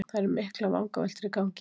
Það eru miklar vangaveltur í gangi